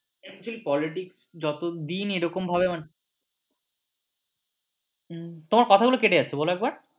actual quality যতদিন এরকম ভাবে মানে তোমার কথাগুলো কেটে যাচ্ছে বল একবার